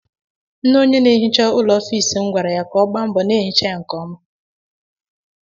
Nne onye na-ehicha ụlọ ọfiisi m kwara ya ka ọ gbaa mbọ n'ehicha ya nke ọma.